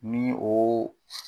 Ni o